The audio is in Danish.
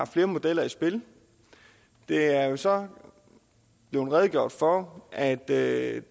flere modeller i spil der er så blevet redegjort for at det